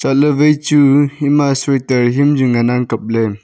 chat ley wai chu ema soiter hiyam chu ngan ang kap ley.